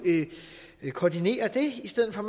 koordinere det i stedet for at